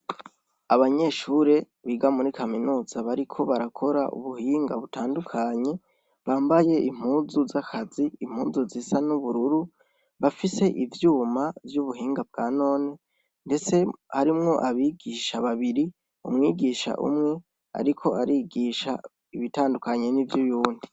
Abanyeshure biga muri Kaminuza bariko barakora ubuhinga butandukanye, bambaye impuzu z'akazi, impuzu zisa n'ubururu, bafise ivyuma vy'ubuhinga bwa none ndetse harimwo abigisha babiri, umwigisha umwe ariko arigisha ibitandukanye n'ivy'uyundi.